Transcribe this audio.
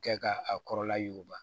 Kɛ ka a kɔrɔla yuguba